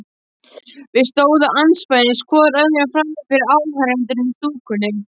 Við stóðum andspænis hvor öðrum frammi fyrir áhorfendunum í stúkunni.